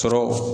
Sɔrɔ